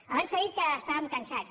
abans s’ha dit que estàvem cansats